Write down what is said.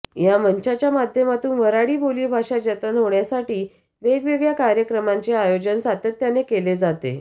ह्या मंचाच्या माध्यमातुन वऱ्हाडी बोलीभाषा जतन होण्यासाठी वेगवेगळ्या कार्यक्रमाचे आयोजन सातत्याने केले जाते